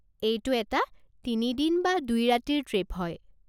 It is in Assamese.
এইটো এটা তিনি দিন বা দুই ৰাতিৰ ট্ৰিপ হয়।